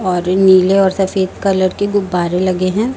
और नीले और सफेद कलर की गुब्बारे लगे हैं।